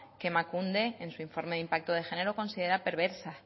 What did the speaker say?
que emakunde en su informe de impacto de género considera perversa